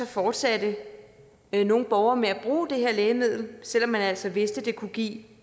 fortsatte nogle borgere med at bruge det her lægemiddel selv om man altså vidste det kunne give